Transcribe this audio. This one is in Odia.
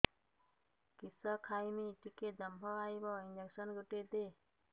କିସ ଖାଇମି ଟିକେ ଦମ୍ଭ ଆଇବ ଇଞ୍ଜେକସନ ଗୁଟେ ଦେ